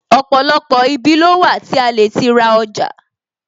Ọ̀pọ̀lọpọ̀ ibi ló wà tí a lè ti ra ọjà